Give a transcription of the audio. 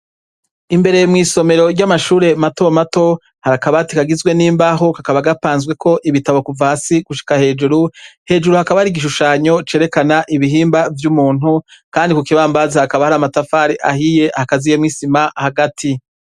Imbere mwisomero ry'amashure mato mato harakabati kagizwe n'imbaho kakaba gapanzweko ibitabo kuva hasi gushika hejuru, hejuru hakaba hari igishushanyo cerekana ibihimba vy'umuntu kandi kukibambazi hakaba hari amatafari ahiye hakaziyemwisima hagati.